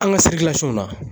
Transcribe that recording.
An ka la